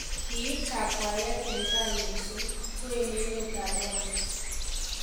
Kiib kakwaayet en tai mising' koenemet ab Rwanda.